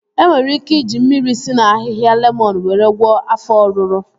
E nwere ike iji mmiri si na ahịhịa lemọn were gwọọ afọ ọruru